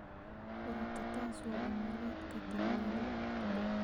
Frittatas waa omelet-ka talyaaniga.